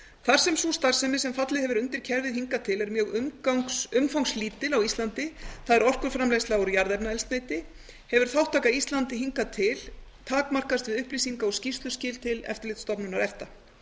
þar sem sú starfsemi sem fallið hefur undir kerfið hingað til er mjög umfangslítil á íslandi það er orkuframleiðsla úr jarðefnaeldsneyti hefur þátttaka íslands hingað til takmarkast við upplýsinga og skýrsluskil til eftirlitsstofnunar efta